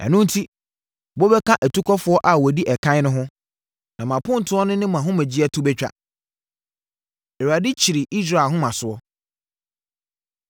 Ɛno enti, mobɛka atukɔfoɔ a wɔdi ɛkan no ho; na mo apontoɔ ne mo ahomegyeɛ to bɛtwa. Awurade Kyiri Israel Ahomasoɔ